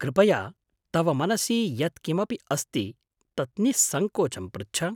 कृपया तव मनसि यत् किमपि अस्ति तत् निःसङ्कोचं पृच्छ।